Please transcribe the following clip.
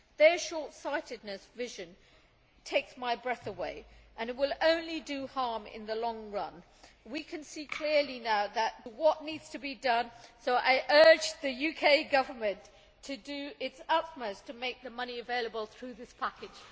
Their short sightedness of vision takes my breath away and will only do harm in the long run. We can see clearly now what needs to be done, so I urge the UK Government to do its utmost to make the money available through this package.